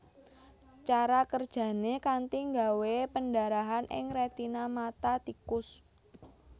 Cara kerjané kanthi nggawé pendarahan ing rètina mata tikus